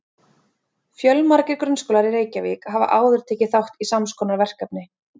Fjölmargir grunnskólar í Reykjavík hafa áður tekið þátt í sams konar verkefni.